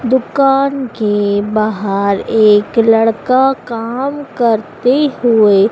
दुकान के बाहर एक लड़का काम करते हुए--